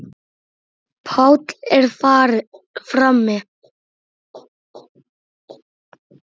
Páll er frammi.